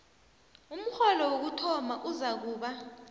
umrholo wokuthoma uzakuba